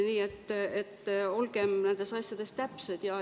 Nii et olgem nendes asjades täpsed.